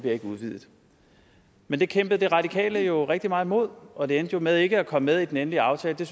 ikke udvidet men det kæmpede de radikale jo rigtig meget imod og det endte med ikke at komme med i den endelige aftale det